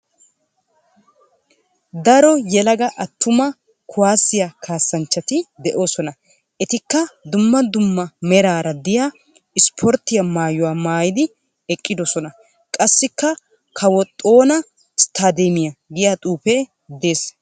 Daro yelaga attuma kuwaasiya kaassanchchati de'oosona. Etikka dumma dumma meraara diya isiporttiya mayyuwa maayidi eqqidosona. Qassikka " kawo xoona isttaadoomiya" giya xuufee dees.